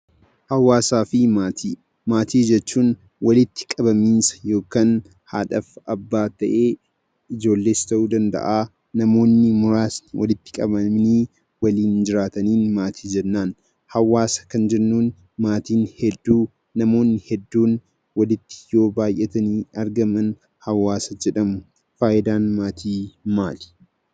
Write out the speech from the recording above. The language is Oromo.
Maatii jechuun walitti qabamiinsa yookaan haadhaaf abbaa ta'ee, ijoollee ta'uu danda'a, namoonni muraasni walitti qabamanii waliin jiraataniin maatii jennaan. Hawaasa kan jennuun maatiin hedduun, namoonni hedduun walitti yoo baay'atanii argaman hawaasa jedhamu. Faayidaan maatii maali?